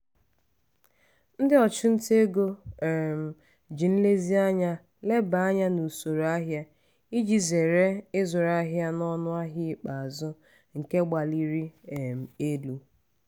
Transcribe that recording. ndị ọchụnta ego um ji nlezianya leba anya n'usoro ahịa iji zere ịzụrụ ahịa n'ọnụ ahịa ikpeazụ nke gbaliri um elu.